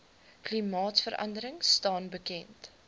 klimaatverandering staan bekend